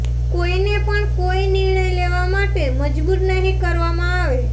કોઇને પણ કોઇ નિર્ણય લેવા માટે મજબૂર નહીં કરવામાં આવે